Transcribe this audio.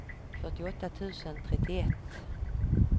fyrtioåtta tusen trettioett